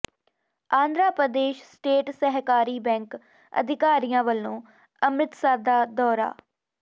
Andhra Pradesh state ਸਹਿਕਾਰੀ bank ਅਧਿਕਾਰੀਆਂ ਵੱਲੋਂ ਅੰਮਿ੍ਤਸਰ ਦਾ ਦੌਰਾ